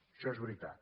això és veritat